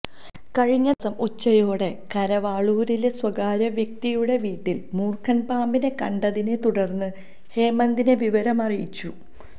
കഴിഞ്ഞദിവസം ഉച്ചയോടെ കരവാളൂരിലെ സ്വകാര്യ വ്യക്തിയുടെ വീട്ടിൽ മൂർഖൻ പാമ്പിനെ കണ്ടതിനെ തുടർന്ന് ഹേമന്ദിനെ വിവരമറിയിച്ചു